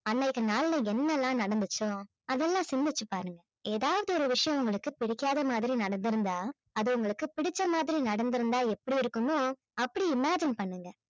அன்னைக்கு நாள்ல என்னென்னலாம் நடந்துச்சோ அதெல்லாம் சிந்திச்சு பாருங்க ஏதாவது ஒரு விஷயம் நமக்கு பிடிக்காத மாதிரி நடந்திருந்தா அது உங்களுக்கு பிடிச்ச மாதிரி நடந்திருந்தா எப்படி இருக்குமோ அப்படி imagine பண்ணுங்க